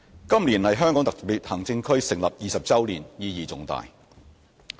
今年是香港特別行政區成立20周年，意義重大。